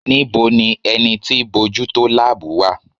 Níbo ni ẹni tí bójú tó láàbù wà?